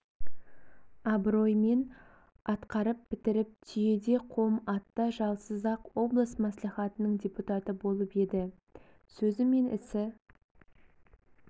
абыроймен атқарып бітіріп түйеде қом атта жалсыз-ақ облыс мәслихатының депутаты болып еді сөзі мен ісі